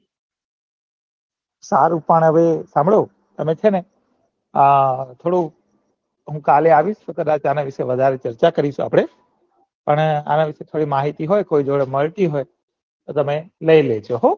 સારું પણ હવે તમે સેને અ થોડું હું કાલે આવીશ તો આના વિશે કૈક વધારે ચર્ચા કરીશ અને આના વિશે થોડી માહિતી હોત યો કોઈક જોડે મળતી હોય તો લઇ લેજો હો